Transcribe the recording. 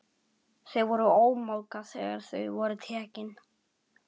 Þau voru ómálga þegar þau voru tekin.